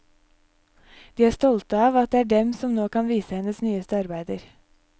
De er stolte av at det er dem som nå kan vise hennes nyeste arbeider.